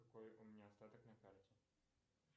какой у меня остаток на карте